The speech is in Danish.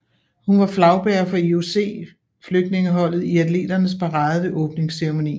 Hun var flagbærer for IOC Flygtningeholdet i atleternes parade ved åbningsceremonien